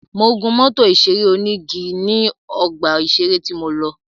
Mo gún mọ́tò ìṣeré onígi ní ọgbà ìṣeré tí mo lọ.